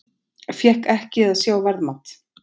Fékk ekki að sjá verðmat